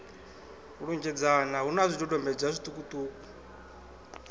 lunzhedzana hu na zwidodombedzwa zwiṱukuṱuku